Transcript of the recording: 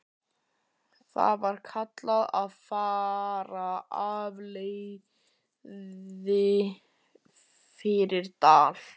Þar var kallað að fara alfaraleið fyrir dal.